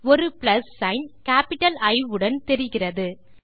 ஒரு plus sign capital E உடன் தெரிகிறது